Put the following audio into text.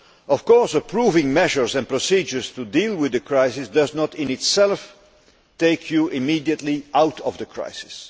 Of course, approving measures and procedures to deal with the crisis does not in itself take you immediately out of the crisis.